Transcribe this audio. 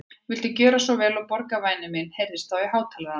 Viltu gjöra svo vel að borga, væni minn heyrðist þá í hátalaranum.